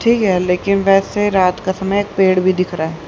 ठीक है लेकिन वैसे रात का समय एक पेड़ भी दिख रहा है।